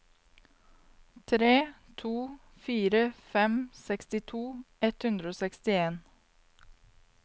tre to fire fem sekstito ett hundre og sekstien